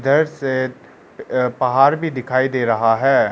इधर से अह पहाड़ भी दिखाई दे रहा है।